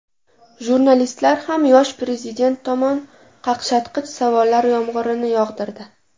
Jurnalistlar ham yosh prezident tomon qaqshatqich savollar yomg‘irini yog‘dirdi.